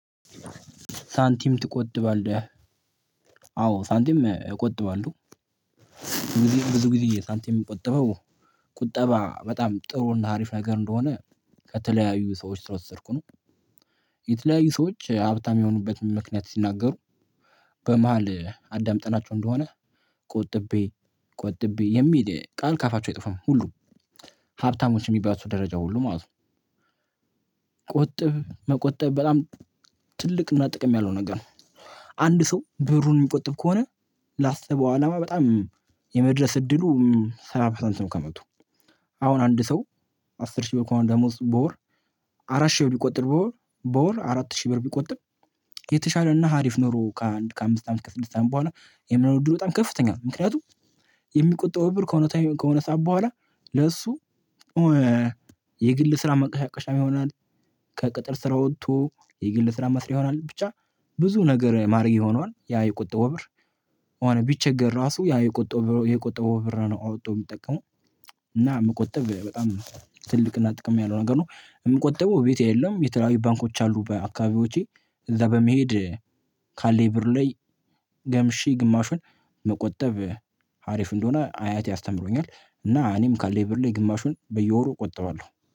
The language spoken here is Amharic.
ሳንቲም ትቆጥባለህ አዎ ሳንቲም እቆጥባለሁ ብዙ ጊዜ ሳንቲም የምቆጥበው ቁጠባ በጣም ጥሩ እና አሪፍ ነገር እንደሆነ ከተለያዩ ሰዎች የወሰድኩት ነው። የተለያዩ ሰዎች ሀብታም የሆኑበትን ምክንያት ሲናገሩ በመሃል አዳምጠናቸው እንደሆነ ቆጥቤ ቆጥቤ የሚል ቃል ካፋቸው አይጠፋም ሁሉ ሀብታሞች የሚባሉ ደረጃ ሁሉ ማለት ነው። ቁጥብ መቆጠብ በጣም ትልቅ እና ጥቅም ያለው ነገር ነው። አንድ ሰው ብሩን የሚቆጥብ ከሆነ ላሰበው አላማ በጣም የመድረስ እድሉ ሰባ ፐርሰንት ነው። ከመቶ አሁን አንድ ሰው አስር ሺህ ብር ከሆነ ደሞዝ በወር አራት ሺህ ብር ቢቆጥር በወር በወር አራት ሺህ ብር ቢቆጥም የተሻለ እና ሀሪፍ ኑሮ ከአንድ ከአምስት አመት ከስድስት አመት በኋላ የመሆን እድሉ በጣም ከፍተኛ ነው። ምክንያቱም የሚቆጠበው ብር ከሆነ ከሆነ ሰዓት በኋላ ለሱ የግል ስራ መንቀሳቀሻ ይሆናል። ከቅጥር ስራ ወጥቶ የግል ስራ መስሪያ ይሆናል። ብቻ ብዙ ነገር ማድረግያ ይሆነዋል ያ የቁጠው ወብር አሁን ቢቸገር ራሱ ያ የቆጠው የቆጠው ብር ነው አወጡ የሚጠቀመው። እና የምቆጥበው በጣም ትልቅና ጥቅም ያለው ነገር ነው የምቆጥበው ቤቴ የለም። የተለያዩ ባንኮች አሉ በአካባቢዎቼ እዛ በመሄድ ካለኝ ብር ላይ ገምሼ ግማሹን መቆጠብ ሀሪፍ እንደሆነ አያቴ አስተምሮኛል። እና እኔም ካለኝ ብር ላይ ግማሹን በየወሩ እቆጥባለሁ